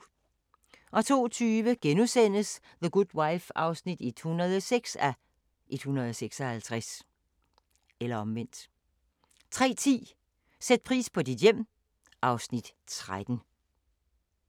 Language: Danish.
02:20: The Good Wife (106:156)* 03:10: Sæt pris på dit hjem (Afs. 13)